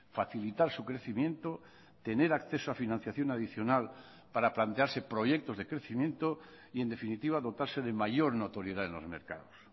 facilitar su crecimiento tener acceso a financiación adicional para plantearse proyectos de crecimiento y en definitiva dotarse de mayor notoriedad en los mercados